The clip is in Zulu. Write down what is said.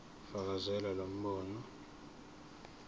fakazela lo mbono